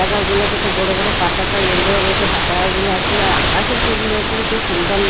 -গুলো কত বড় বড় পাতাকা ইলো রেড -এ পাতাকা গুলা আছে আর আকাশের সৌন্দর্য খুব সুন্দর লাগ--